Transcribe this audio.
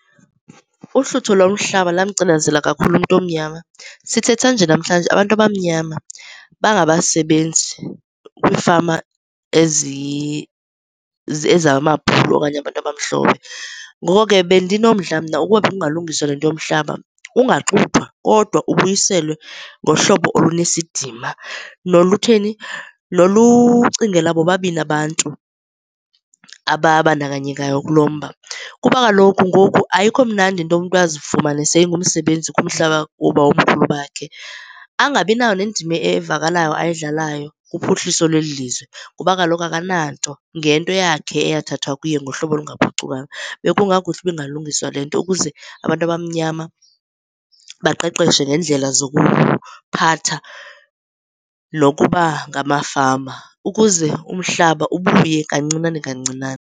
Uhlutho lomhlaba lamcinezela kakhulu umntu omnyama. Sithetha nje namhlanje abantu abamnyama bangabasebenzi kwiifama ezamabhulu okanye abantu abamhlophe. Ngoku ke bendinomdla mna ukuba bekungalungiswa le nto yomhlaba ungaxuthwa kodwa ubuyiselwe ngohlobo olunesidima nolutheni, nolucingela bobabini abantu ababandakanyekayo kulo mba. Kuba kaloku ngoku ayikho mnandi into yokuba umntu azifumane sengumsebenzi kumhlaba woobawomkhulu bakhe, angabi nayo nendima evakalayo ayidlalayo kuphuhliso lweli lizwe. Ngoba kaloku akananto ngento yakhe eyathathwa kuye ngohlobo olungaphucukanga. Bekungakuhle ukuba ingalungiswa le nto ukuze abantu abamnyama baqeqeshwe ngeendlela zokuphatha nokuba ngamafama ukuze umhlaba ubuye kancinane kancinane.